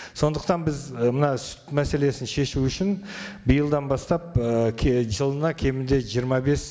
сондықтан біз і мына сүт мәселесін шешу үшін биылдан бастап ы жылына кемінде жиырма бес